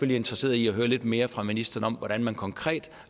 interesseret i at høre lidt mere fra ministeren om hvordan man konkret